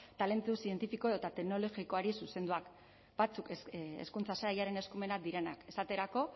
talentu zientifiko edota teknologikoari zuzenduak batzuk hezkuntza sailaren eskumenak direnak esaterako